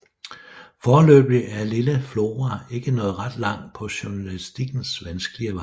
Foreløbig er lille Flora ikke nået ret langt på journalistikkens vanskelige vej